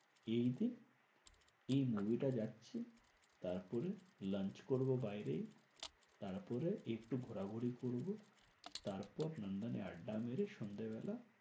এইদিন এই movie টা যাচ্ছি। তারপরে lunch করবো বাইরে। তারপরে একটু ঘোরাঘুরি করবো। তারপর নন্দনে আড্ডা মেরে সন্ধেবেলা